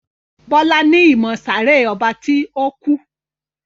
Bola ní ìmọ sáré ọba ti o kú.